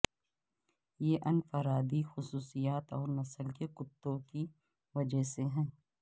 یہ انفرادی خصوصیات اور نسل کے کتوں کی وجہ سے ہے